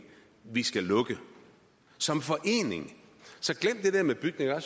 vi skal lukke som forening så glem det med bygninger jeg